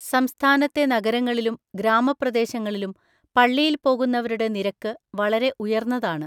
സംസ്ഥാനത്തെ നഗരങ്ങളിലും ഗ്രാമപ്രദേശങ്ങളിലും പള്ളിയില്‍ പോകുന്നവരുടെ നിരക്ക് വളരെ ഉയർന്നതാണ്.